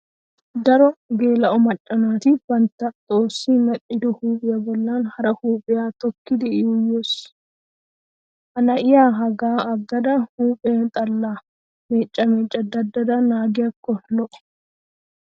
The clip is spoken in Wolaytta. Daro geela'o macca naati bantta xoossi medhdhido huuphiya bollan hara huuphphiya tookkidi yuuyyes. Ha na'iya hagaa aggada huuphe xallaa mecca mecca daddada naagiyakko lo'o.